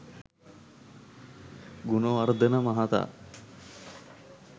ගුණවර්ධන මහතා